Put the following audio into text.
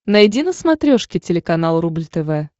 найди на смотрешке телеканал рубль тв